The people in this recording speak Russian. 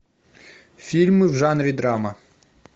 фильмы в жанре драма